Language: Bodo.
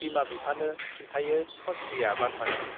बिमा बिफानो खिन्थायो खनस्रीया बाथ्राखौ ।